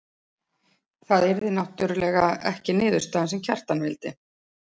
Það yrði náttúrlega ekki niðurstaðan sem Kjartan vildi.